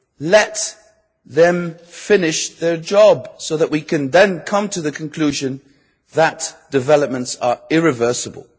Let them finish their job so that we can then come to the conclusion that developments are irreversible.